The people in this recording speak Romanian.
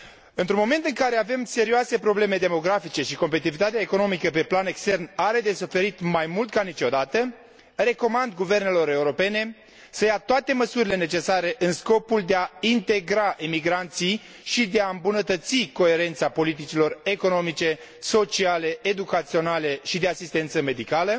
Într un moment în care avem serioase probleme demografice, iar competitivitatea economică pe plan extern are de suferit mai mult ca niciodată, recomand guvernelor europene să ia toate măsurile necesare în scopul de a integra emigranții și de a îmbunătăți coerența politicilor economice, sociale, educaționale și de asistență medicală,